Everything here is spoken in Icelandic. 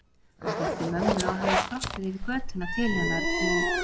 Hann þekkti mömmu og hafði skroppið yfir götuna til hennar í